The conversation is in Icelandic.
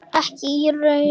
Ekki í raun og veru.